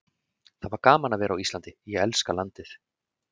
Það var gaman að vera á Íslandi, ég elska landið.